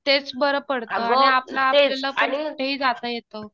तेच बरं पडतं.आणि आपलं आपल्याला कुठेही जाता येतं.